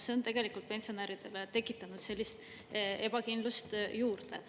See on tegelikult pensionäridele tekitanud sellist ebakindlust juurde.